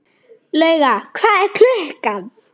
Lauga, hvað er klukkan?